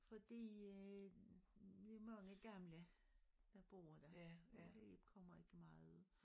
Fordi øh vi mange gamle der bor dér og vi kommer ikke meget ud